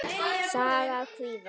Saga af kvíða.